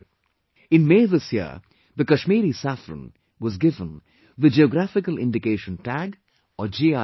In May this year, the Kashmiri Saffron was given the Geographical Indication Tag or GI tag